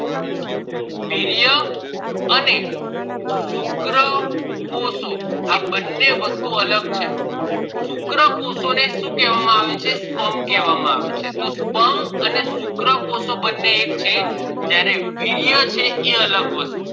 શુક્ર કોષો આ બને વસ્તુ અગલ છે શુક્રકોષો ને શું કેવા માં આવે છે તો sperm કેવા આવે છે તો sperm અને શુક્રકોષો બને એક છે પણ વીર્ય અલગ છે